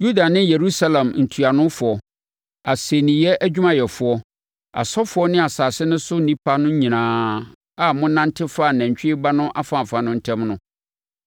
Yuda ne Yerusalem ntuanofoɔ, asɛnniiɛ adwumayɛfoɔ, asɔfoɔ ne asase no so nnipa no nyinaa a monante faa nantwie ba no afaafa no ntam no,